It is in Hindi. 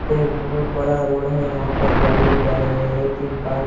ये एक बहुत बड़ा रोड है यहाँ पर गाड़ियां जा रहा है तीन कार --